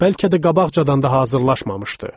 Bəlkə də qabaqcadan da hazırlaşmamışdı.